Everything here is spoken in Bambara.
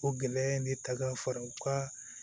O gɛlɛya in ne ta ka fara u ka